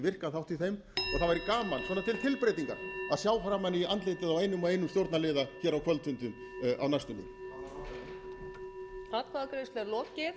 virkan þátt í þeim og það væri gaman til tilbreytingar að sjá framan í andlitið á einum og einum stjórnarliða á kvöldfundum á næstunni